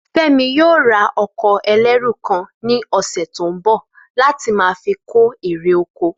Fé̩mi yóò ra o̩kò̩ e̩lérù kan ní ò̩sè̩ tó ń bò̩ láti máa fi kó èrè oko